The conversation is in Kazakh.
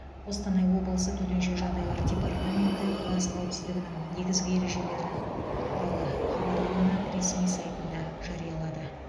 қостанай облысы төтенше жағдайлар департаменті газ қауіпсіздігінің негізгі ережелерін туралы хабарламаны ресми сайтында жариялады